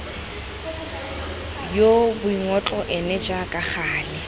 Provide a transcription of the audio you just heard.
yoo boingotlo ene jaaka gale